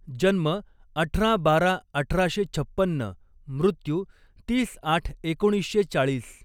जन्म अठरा बारा अठरा शे छप्पन्न, मृत्यू तीस आठ एकोणीस शे चाळीस